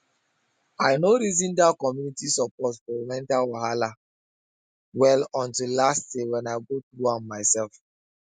i no reason that community support for mental wahala well until last year when i go through am myself